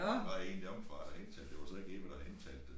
Der var en deromme fra der havde indtalt det var så ikke Eva der havde indtalt det